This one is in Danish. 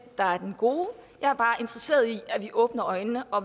der er den gode jeg er bare interesseret i at vi åbner øjnene og